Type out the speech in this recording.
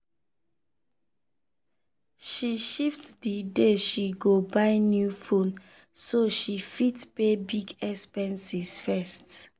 she shift the day she go buy new phone so she fit pay big expenses first.